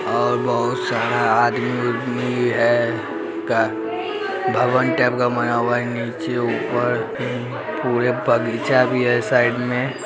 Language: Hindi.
और बोहोत सारा आदमी ओदमी है का भवन टाइप का बना हुआ है नीचे ऊपर उं पूरे बगीचा भी है साइड में।